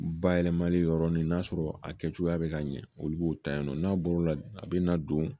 Bayɛlɛmali yɔrɔnin n'a sɔrɔ a kɛ cogoya bɛ ka ɲɛ olu b'o ta yan nɔ n'a bɔr'o la a bɛ na don